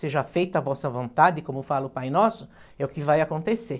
seja feita a vossa vontade, como fala o Pai Nosso, é o que vai acontecer.